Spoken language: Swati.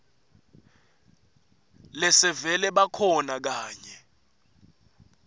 lesevele bakhona kanye